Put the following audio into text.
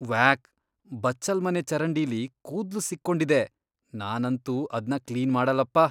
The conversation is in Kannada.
ವ್ಯಾಕ್! ಬಚ್ಚಲ್ಮನೆ ಚರಂಡಿಲಿ ಕೂದ್ಲು ಸಿಕ್ಕೊಂಡಿದೆ. ನಾನಂತೂ ಅದ್ನ ಕ್ಲೀನ್ ಮಾಡಲ್ಲಪ್ಪ.